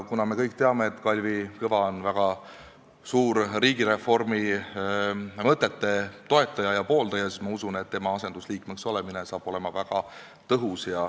Kuna me kõik teame, et Kalvi Kõva on väga suur riigireformi mõtete toetaja, siis ma usun, et tema asendusliikmeks olemine saab olema väga tõhus.